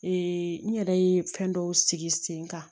n yɛrɛ ye fɛn dɔw sigi sen kan